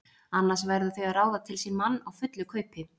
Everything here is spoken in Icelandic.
Annars verða þau að ráða til sín mann á fullu kaupi.